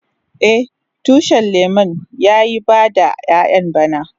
Eh, tushin lemun ya yi bada ƴayan bana.